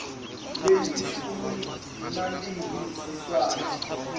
lelishumi nambili siswati